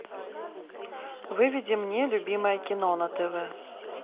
выведи мне любимое кино на тв